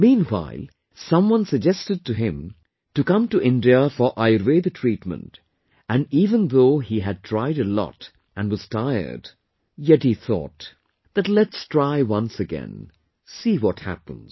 Meanwhile, someone suggested him to come to India for Ayurveda treatment and even though he had tried a lot and was tired, yet he thought that let's try once again... see what happens